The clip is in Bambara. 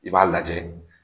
I b'a lajɛ